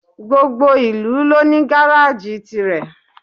Gbogbo ìlú ló ní gáráàjì tirẹ̀.